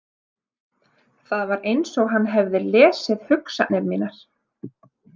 Það var eins og hann hefði lesið hugsanir mínar.